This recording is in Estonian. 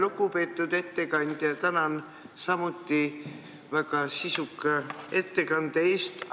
Lugupeetud ettekandja, tänan samuti väga sisuka ettekande eest!